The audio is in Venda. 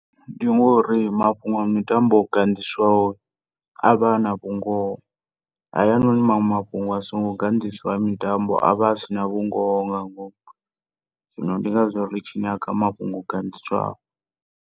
Ndi ngori mafhungo a mitambo o ganḓiswaho avha ana vhungoho. Hayanoni maṅwe mafhungo asingo ganḓiswaho a mitambo avha a si na vhungoho nga ngomu zwino ndi ngazwo ritshi nyaga mafhungo o ganḓiswaho.